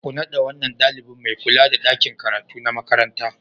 Ku naɗa wannan ɗalibin mai kula da ɗakin karatu na makaranta.